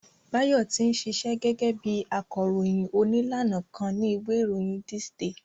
Báyọ̀ ti ṣíṣe gẹ́gẹ́ bí akọròyìn òní lánàá kan ni ìwé ìròyìn This day